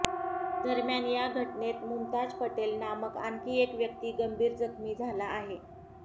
दरम्यान या घटनेत मुमताज पटेल नामक आणखी एक व्यक्ती गंभीर जखमी झाला आहे